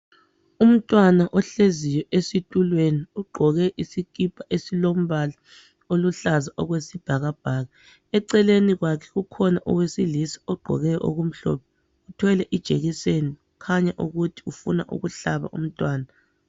Umntwana ohleziyo esitulweni ugqoke isikipa esilombala oluhlaza okwesibhakabhaka eceleni kwakhe kukhona owesilisa ogqoke okumhlophe uthwele ijekiseni kukhanya ukuthi ufuna ukuhlaba umntwana.